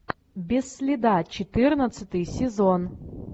без следа четырнадцатый сезон